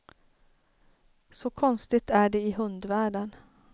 Så konstigt är det i hundvärlden.